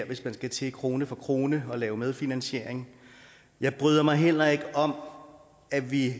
hvis man skal til krone for krone at lave medfinansiering jeg bryder mig heller ikke om at vi